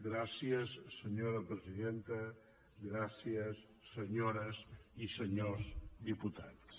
gràcies senyora presidenta gràcies senyores i senyors diputats